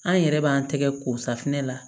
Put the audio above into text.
An yɛrɛ b'an tɛgɛ ko safunɛ la